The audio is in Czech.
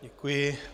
Děkuji.